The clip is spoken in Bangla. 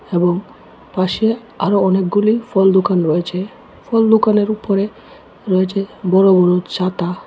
এবং পাশে আরও অনেকগুলি ফল দোকান রয়েছে ফল দোকানের উপরে রয়েছে বড় বড় ছাতা।